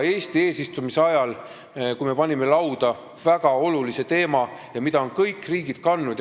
Eesti eesistumise ajal me tõstatasime väga olulise teema, mida on kõik riigid kandnud.